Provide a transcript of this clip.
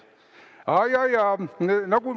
Aa, jaa-jaa.